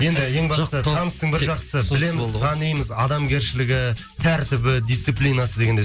енді ең бастысы таныстың бір жақсысы білеміз танимыз адамгершілігі тәртібі дисциплинасы дегендей